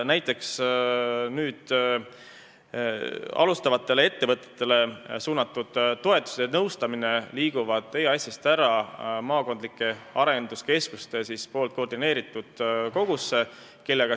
Näiteks liiguvad nüüd alustavatele ettevõtetele suunatud toetused ja nõustamine EAS-ist ära maakondlike arenduskeskuste koordineeritud kogusse.